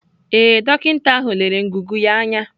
Ee, dọkịta ahụ lere ngụgụ ya anya.